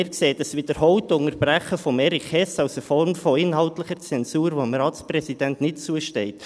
Wir sehen das wiederholte Unterbrechen von Erich Hess als eine Form von inhaltlicher Zensur, die dem Ratspräsidenten nicht zusteht.